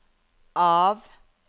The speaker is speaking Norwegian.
av